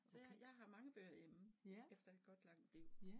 Så jeg jeg har mange bøger hjemme efter et godt langt liv